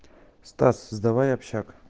стас создавай общак